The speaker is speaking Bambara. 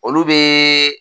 Olu bɛ.